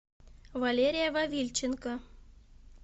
валерия вавильченко